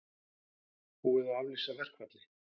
Búið er að aflýsa verkfalli